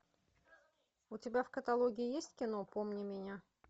у тебя в каталоге есть кино помни меня